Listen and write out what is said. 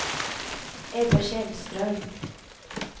Ebbe Källström